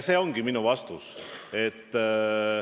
See ongi minu vastus.